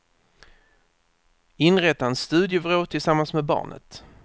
Inrätta en studievrå tillsammans med barnet.